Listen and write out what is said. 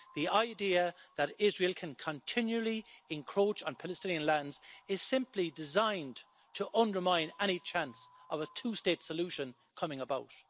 The idea that Israel can continually encroach on Palestinian lands is simply designed to undermine any chance of a two-state solution coming about.